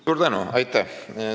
Suur tänu!